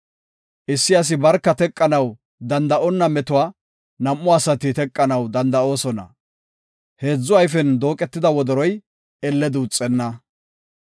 Issi asi barka teqanaw danda7onna metuwa nam7u asati teqanaw danda7oosona. Heedzu ayfen dooqetida wodoroy elle duuxenna.